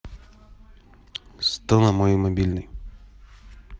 сто на мой мобильный